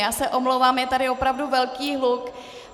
Já se omlouvám, je tady opravdu velký hluk.